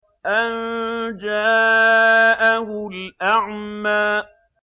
أَن جَاءَهُ الْأَعْمَىٰ